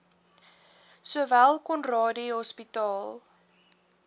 sowel conradie hospitaal